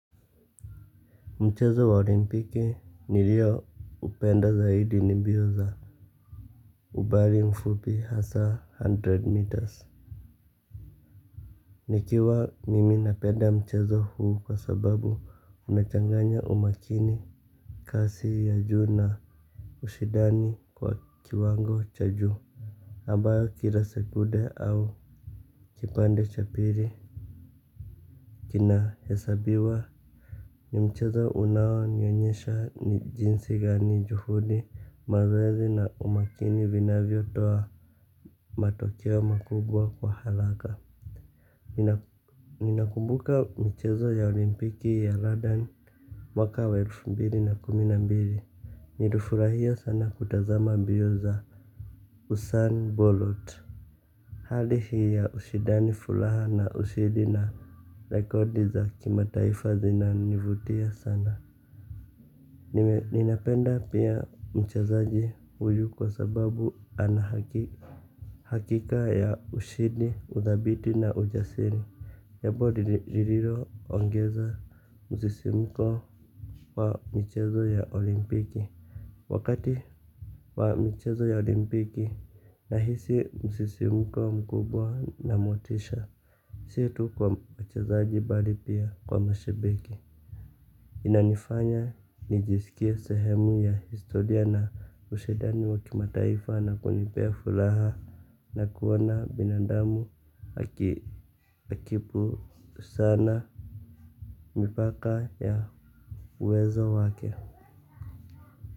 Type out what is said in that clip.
Mchezo wa olimpiki nilio upenda zaidi ni mbio za umbali mfupi hasa hundred meters. Nikiwa mimi napenda mchezo huu kwa sababu unachanganya umakini. Kasi ya juu na ushindani wa kiwango cha juu ambayo kila sekunde au kipande cha pili kina hesabiwa. Ni mchezo unao nionyesha ni jinsi gani juhudi mazoezi na umakini vinavyo toa matokeo makubwa kwa haraka. Ninakumbuka michezo ya olimpiki ya London mwaka wa elfu mbili na kumi na mbili. Nilifurahia sana kutazama mbio za Usain Bolot. Hali hii ya ushindani furaha na ushindi na rekodi za kimataifa zinanivutia sana. Ninapenda pia mchezaji huyu kwa sababu ana hakika ya ushindi, udhabiti na ujasiri jambo lililo ongeza msisimuko wa michezo ya olimpiki. Wakati wa michezo ya olimpiki nahisi msisimuko mkubwa na motisha. Si tu kwa mchezaji bali pia kwa mashabiki. Inanifanya nijisikie sehemu ya historia na ushindani wa kimataifa na kunipea furaha na kuona binadamu akipu sana mipaka ya uwezo wake.